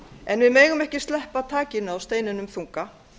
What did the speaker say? en við megum ekki sleppa takinu á steininum þunga